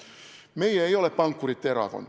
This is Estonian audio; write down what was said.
Meie ei ole pankurite erakond.